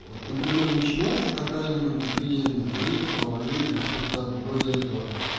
вот например начинается какая-нибудь эпидемии гриппа орви или что-то вроде этого